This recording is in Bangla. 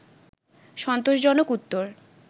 সন্তোষজনক উত্তর